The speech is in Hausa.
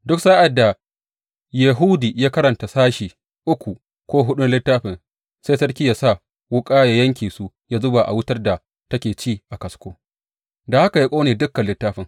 Duk sa’ad da Yehudi ya karanta sashi uku ko huɗu na littafin, sai sarkin ya sa wuƙa ya yanke su, ya zuba a wutar da take ci a kasko, da haka ya ƙone dukan littafin.